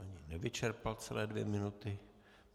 Ani nevyčerpal celé dvě minuty.